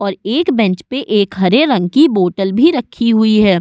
और एक बेंच पे एक हरे रंग की बोटल भी रखी हुई है।